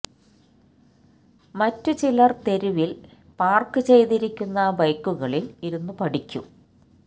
മറ്റു ചിലർ തെരുവിൽ പാർക്ക് ചെയ്തിരിക്കുന്ന ബൈക്കുകളിൽ ഇരുന്നു പഠിക്കും